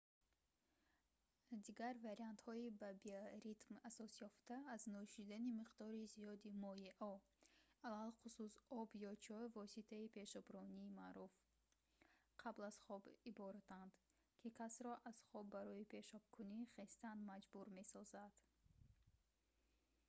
дигар вариантҳои ба биоритм асосёфта аз нӯшидани миқдори зиёди моеъҳо алахусус об ё чой воситаи пешоброни маъруф қабл аз хоб иборатанд ки касро аз хоб барои пешобкунӣ хестан маҷбур месозад